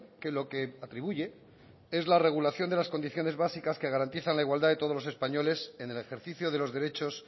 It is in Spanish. que lo que atribuye es la regulación de las condiciones básicas que garantizan la igualdad de todos los españoles en el ejercicio de los derechos